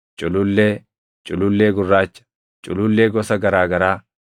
culullee, culullee gurraacha, culullee gosa garaa garaa,